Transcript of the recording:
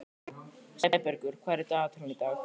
Sæbergur, hvað er í dagatalinu í dag?